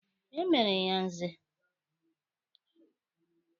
E mere ya Nze?